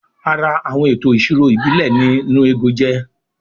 Ara Àwọn ètò ìṣirò ìbílẹ̀ ni "nnu ego "jẹ́